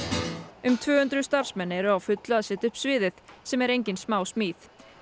um tvö hundruð starfsmenn eru á fullu að setja upp sviðið sem er engin smásmíði